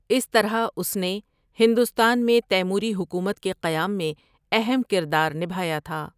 اس طرح اس نے ہندوستان میں تیموری حکومت کے قیام میں اہم کردار نبھایا تھا ۔